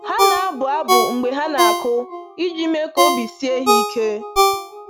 Ha na-abụ abụ mgbe ha na-akụ iji mee ka obi sie ha ike.